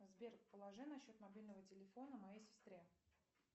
сбер положи на счет мобильного телефона моей сестре